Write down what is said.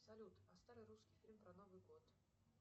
салют а старый русский фильм про новый год